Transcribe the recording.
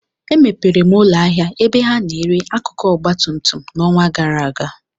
Emepere m ụlọ ahịa ebe ha na-ere akụkụ ọgba tum tum n'ọnwa gara aga